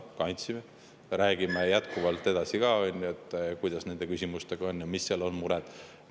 Me kandsimegi ja me räägime jätkuvalt ka edaspidi, kuidas nende küsimustega on ja mis mured sellega on.